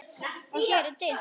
Og hér er dimmt.